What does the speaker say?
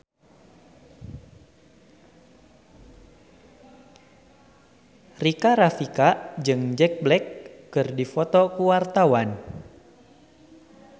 Rika Rafika jeung Jack Black keur dipoto ku wartawan